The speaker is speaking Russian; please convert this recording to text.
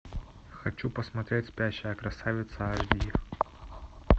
хочу посмотреть спящая красавица аш ди